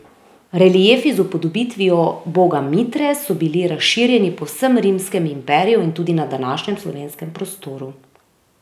Reliefi z upodobitvijo boga Mitre so bili razširjeni po vsem rimskem imperiju in tudi na današnjem slovenskem prostoru.